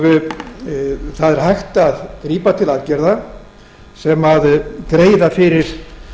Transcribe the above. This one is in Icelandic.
það er hægt að grípa til aðgerða sem greiða fyrir